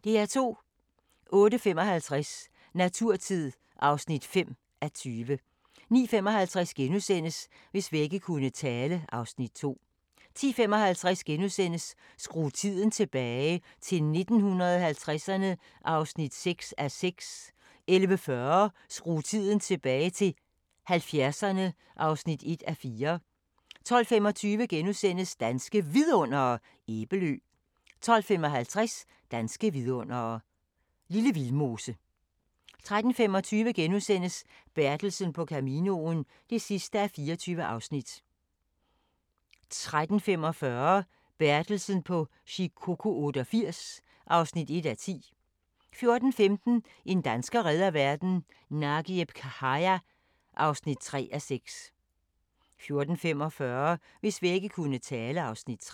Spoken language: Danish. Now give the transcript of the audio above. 08:55: Naturtid (5:20) 09:55: Hvis vægge kunne tale (Afs. 2)* 10:55: Skru tiden tilbage - til 1950'erne (6:6)* 11:40: Skru tiden tilbage - til 70'erne (1:4) 12:25: Danske Vidundere: Æbelø * 12:55: Danske vidundere: Lille Vildmose * 13:25: Bertelsen på Caminoen (24:24)* 13:45: Bertelsen på Shikoku 88 (1:10) 14:15: En dansker redder verden - Nagieb Khaja (3:6) 14:45: Hvis vægge kunne tale (Afs. 3)